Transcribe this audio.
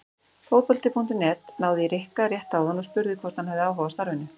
Fótbolti.net náði í Rikka rétt áðan og spurði hvort hann hefði áhuga á starfinu?